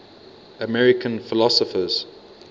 american philosophers